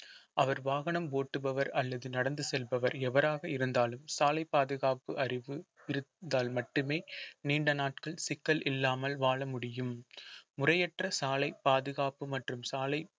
அவர் வாகனம் ஓட்டுபவர் அல்லது நடந்து செல்பவர் எவராக இருந்தாலும் சாலை பாதுகாப்பு அறிவு இருந்தால் மட்டுமே நீண்ட நாட்கள் சிக்கல் இல்லாமல் வாழ முடியும் முறையற்ற சாலை பாதுகாப்பு மற்றும் சாலை